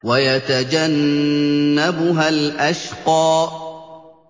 وَيَتَجَنَّبُهَا الْأَشْقَى